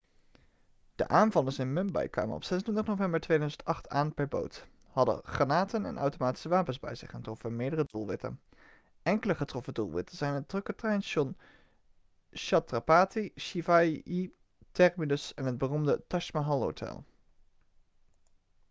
de aanvallers in mumbai kwamen op 26 november 2008 aan per boot hadden granaten en automatische wapens bij zich en troffen meerdere doelwitten enkele getroffen doelwitten zijn het drukke treinstation chhatrapati shivaji terminus en het beroemde taj mahal hotel